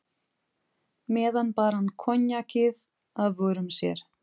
meðan bar hann koníakið að vörum sér.